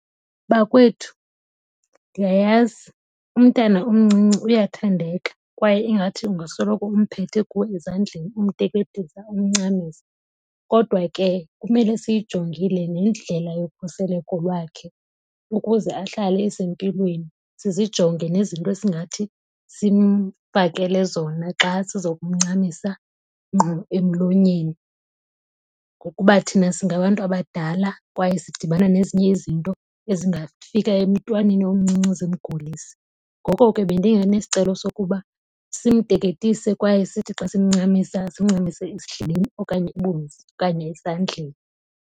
Bakwethu, ndiyayazi umntana omncinci uyathandeka kwaye ingathi ungasoloko umphethe kuwe ezandleni, umteketisa umncamisa. Kodwa ke kumele siyijongile nendlela yokhuseleko lwakhe ukuze ahlale esempilweni, sizijonge nezinto esingathi simfakele zona xa sizokumncamisa ngqo emlonyeni. Ngokuba thina singabantu abadala, kwaye sidibana nezinye izinto ezingafika emntwaneni omncinci zimgulise. Ngoko ke bendinganesicelo sokuba simteketise kwaye sithi xa simncamisa simncamise esidleleni okanye ibunzi okanye esandleni.